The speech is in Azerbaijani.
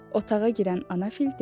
Otağa girən Anafil dedi.